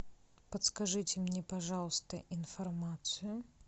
подскажите мне пожалуйста информацию